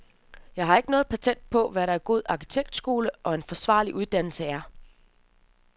Jeg har ikke noget patent på, hvad en god arkitektskole og en forsvarlig uddannelse er.